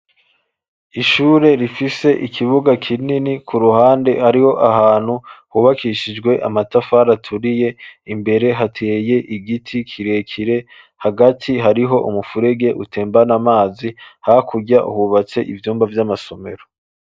Ishure, rifise ikibuga kinini; ku ruhande, hariho ahantu, hubakishijwe amatafari aturiye; imbere, hateye igiti, kirekire; hagati, hariho umufurege, utembana amazi; hakurya, hubatse ivyumba, vy'amasomero.